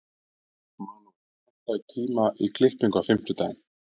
Manuel, pantaðu tíma í klippingu á fimmtudaginn.